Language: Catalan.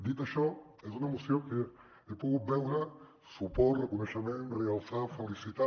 dit això és una moció en què he pogut veure suport reconeixement realçar felicitar